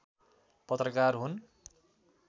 पत्रकार हुन्